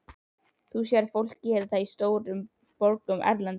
Þú sérð fólk gera það í stórborgum erlendis.